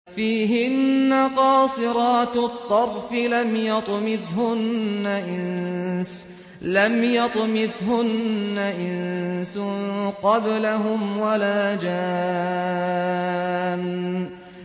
فِيهِنَّ قَاصِرَاتُ الطَّرْفِ لَمْ يَطْمِثْهُنَّ إِنسٌ قَبْلَهُمْ وَلَا جَانٌّ